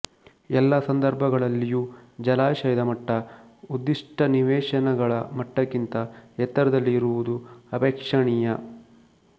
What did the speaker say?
ಎಲ್ಲ ಸಂದರ್ಭಗಳಲ್ಲಿಯೂ ಜಲಾಶಯದ ಮಟ್ಟ ಉದ್ದಿಷ್ಟ ನಿವೇಶನಗಳ ಮಟ್ಟಕ್ಕಿಂತ ಎತ್ತರದಲ್ಲಿ ಇರುವುದು ಅಪೇಕ್ಷಣೀಯ